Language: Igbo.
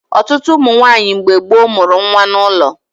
Ọtụtụ ụmụ nwaanyị mgbe gboo mụrụ nwa n'ụlọ